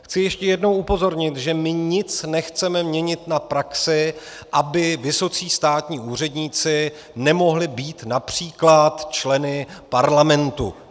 Chci ještě jednou upozornit, že my nic nechceme měnit na praxi, aby vysocí státní úředníci nemohli být například členy parlamentu.